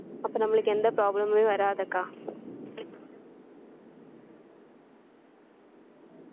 அப்போ நம்மளுக்கு எந்த problem உமே வராதுக்கா